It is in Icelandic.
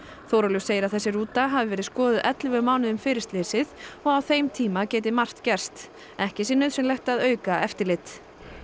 Þórólfur segir að þessi rúta hafi verið skoðuð ellefu mánuðum fyrir slysið og á þeim tíma geti margt gerst ekki sé nauðsynlegt að auka eftirlit